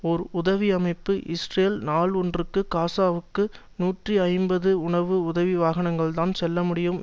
ஒரு உதவி அமைப்பு இஸ்ரேல் நாள் ஒன்றிற்கு காசாவிக்கு நூற்றி ஐம்பது உணவு உதவி வாகனங்கள்தான் செல்லமுடியும்